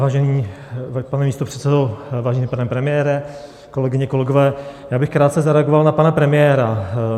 Vážený pane místopředsedo, vážený pane premiére, kolegyně, kolegové, já bych krátce zareagoval na pana premiéra.